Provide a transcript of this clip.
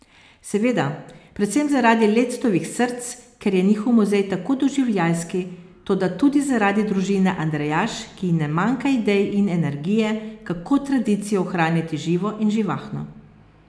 Seveda, predvsem zaradi lectovih src, ker je njihov muzej tako doživljajski, toda tudi zaradi družine Andrejaš, ki ji ne manjka idej in energije, kako tradicijo ohranjati živo in živahno.